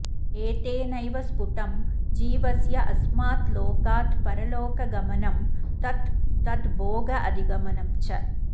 एतेनैव स्फुटं जीवस्यास्मात् लोकात् परलोकगमनं तत् तद् भोगाधिगमनञ्च